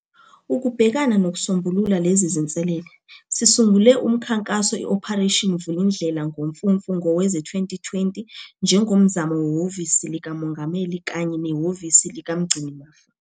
Ukubhekana nokusombulula lezi zinselele, sisungule umkhankaso iOperation Vulindlela ngoMfumfu ngowezi-2020 njengomzamo weHhovisi likaMongameli kanye neHhovisi likaMgcinimafa.